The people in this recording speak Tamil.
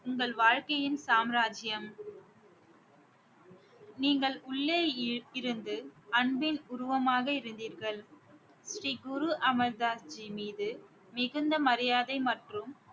உங்கள் வாழ்க்கையின் சாம்ராஜ்யம் நீங்கள் உள்ளே இ~ இருந்து அன்பின் உருவமாக இருந்தீர்கள் ஸ்ரீ குரு அமர் தாஸ் ஜி மீது மிகுந்த மரியாதை மற்றும்